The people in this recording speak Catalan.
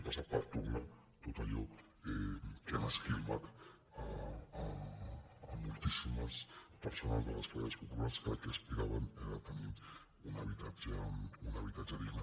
passa per tornar tot allò que han esquilmat a moltíssimes persones de les classes po·pulars que al que aspiraven era a tenir un habitatge digne